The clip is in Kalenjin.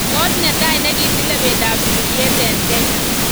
Kot netai nekitilei pendo ap sigiryet eng Kenya